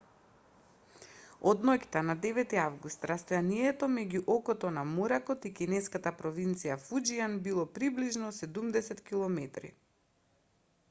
од ноќта на 9 август растојанието меѓу окото на моракот и кинеската провинција фуџијан било приближно седумдесет километри